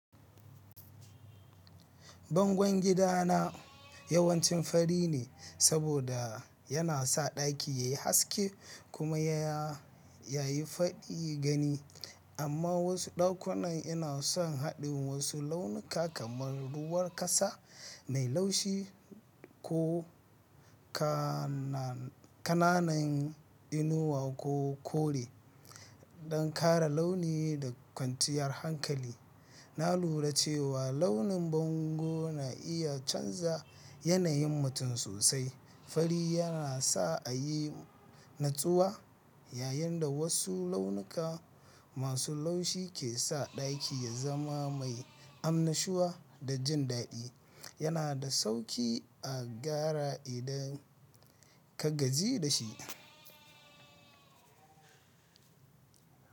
Bangon gidana yawanci fari ne saboda yana sa ɗaki yayi haske kuma yayi faɗi gani. Amma wasu ɗakunan ina son haɗin wasu launuka kamar ruwan ƙasa mai laushi ko ƙananan inuwa ko kore don ƙara launi da kwanciyar hankali. Na lura cewa launin bango na iya canza yanayin mutum sosai. Fari yana sa a yi natsuwa, yayin da wasu launuka masu laushi ke sa ɗaki ya zama mai amnashuwa da jin daɗi. Yana da sauƙi a gara idan ka gaji da shi.